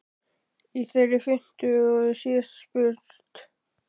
Í þeirri fimmtu er síðan spurt?